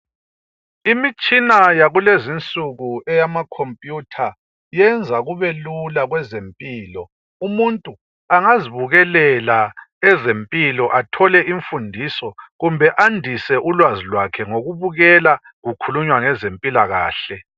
Imitshina yakulezinsuku eyamakhompuyutha iyenza kube lula kwezempilo. Umuntu angazibukelela ezempilo athole imfundiso kumbe andise ulwazi lwakhe ngokubukela kukhulunywa ngezempilakahle.